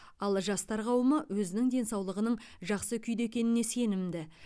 ал жастар қауымы өзінің денсаулығының жақсы күйде екеніне сенімді